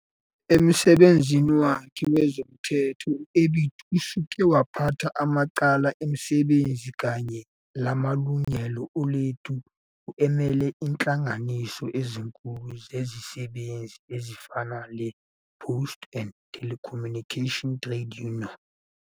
Emsebenzini wakhe wezomthetho uBiti useke waphatha amacala ezisebenzi kanye lamalungelo oluntu emele inhlanganiso ezinkulu zezisebenzi ezifana lePost and Telecommunications Trade Union.